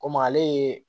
Komi ale ye